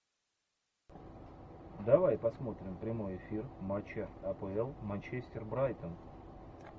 давай посмотрим прямой эфир матча апл манчестер брайтон